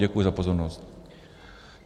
Děkuji za pozornost.